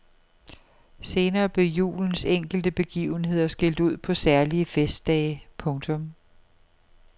Senere blev julens enkelte begivenheder skilt ud på særlige festdage. punktum